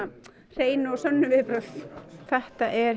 hreinu og sönnu viðbrögð þetta er